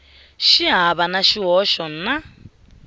xi hava na xihoxo na